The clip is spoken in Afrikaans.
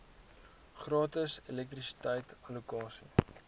gratis elektrisiteit allokasie